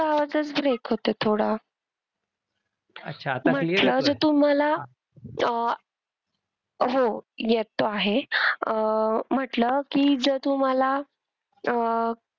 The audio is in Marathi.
तुमचा आवाजच break होतोय थोडा. म्हंटलं आता तुम्हाला अह हो येतो आहे. अं म्हंटलं की जर तुम्हाला अह